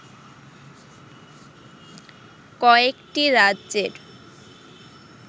কয়েকটি রাজ্যের